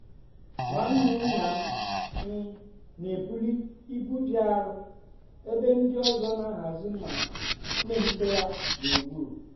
nwanne nna um m um m n'ebuli ibu dị arọ ebe ndị ọzọ n'ahazi ma n'ehicha ya gburugburu.